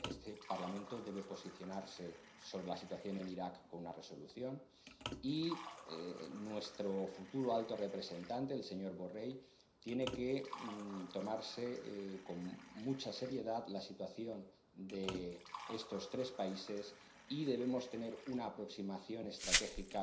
Este Parlamento debe posicionarse sobre la situación en Irak con una resolución, y nuestro futuro alto representante, el señor Borrell, tiene que tomarse con mucha seriedad la situación de estos tres países, y debemos tener una aproximación estratégica